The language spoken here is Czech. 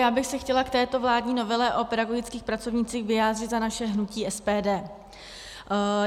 Já bych se chtěla k této vládní novele o pedagogických pracovnících vyjádřit za naše hnutí SPD.